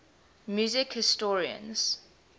music historians